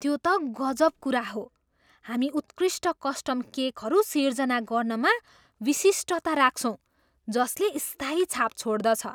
त्यो त गजब कुरा हो! हामी उत्कृष्ट कस्टम केकहरू सिर्जना गर्नमा विशिष्टता राख्छौँ जसले स्थायी छाप छोड्दछ।